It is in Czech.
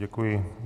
Děkuji.